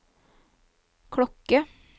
klokke